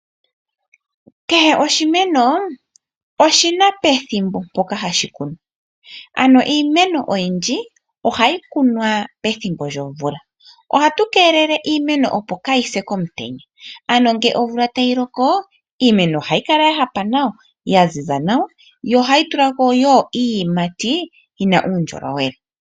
Kehe oshimeno oshina pethimbo ndyoka hashi kunwa. Iimeno oyindji ohayi kunwa pethimbo lyomvula. Ohatu keelele iimeno opo kaayi se komutenya, ano ngele omvula tayi loko, iimeno ohayi kala ya hapa nawa, yaziza nawa, yo ohayi tulako wo iiyimati yina uundjolowele.